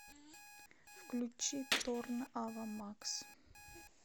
включи торн ава макс